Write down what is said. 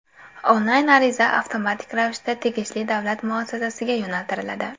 Onlayn ariza avtomatik ravishda tegishli davlat muassasasiga yo‘naltiriladi.